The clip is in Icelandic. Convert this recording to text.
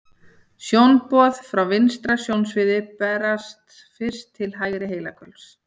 Sjónboð frá vinstra sjónsviði berast fyrst til hægra heilahvels.